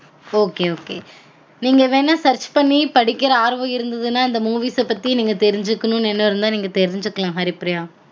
Ok ok நீங்க வெனா search பன்னி படிக்குர ஆர்வம் இருந்ததுனா இந்த movies பத்தி நீங்க தெரிஞ்சுக்கனும் எண்ணம் இருந்தா நீங்க தெரிஞ்சுக்களாம் ஹரிப்ரியா